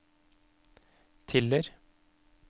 Tiller